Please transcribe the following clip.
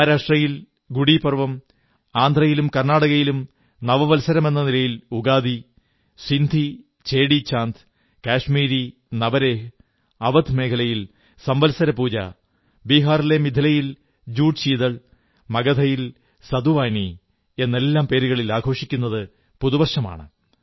മഹാരാഷ്ട്രയിൽ ഗുഡി പഡ്വ ആന്ധ്രയിലും കർണ്ണാടകയിലും നവവത്സരമെന്ന നിലയിൽ ഉഗാദി സിന്ധികൾക്ക് ചേടീചാന്ദ് കശ്മീരിൽ നവരേഹ് അവധ് മേഖലയിൽ സംവത്സരപൂജാ ബിഹാറിലെ മിഥിലയിൽ ജുഡ്ശീതൾ മഗധയിൽ സതുവാനീ എന്നെല്ലാം പേരുകളിൽ ആഘോഷിക്കുന്നത് പുതുവർഷമാണ്